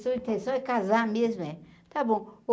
Intenção é casar mesmo, é. Está bom.